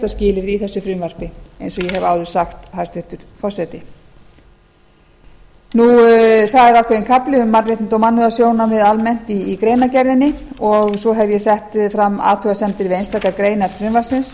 að skilyrði í þessu frumvarpi eins og ég hef áður sagt hæstvirtur forseti það er ákveðinn kafli um mannréttindi og mannúðarsjónarmið almennt í greinargerðinni og svo hef ég sett fram athugasemdir við einstakar greinar